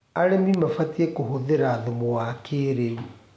Arĩmĩ mabatĩe kũhũthĩra thũmũ wa kĩĩrĩũ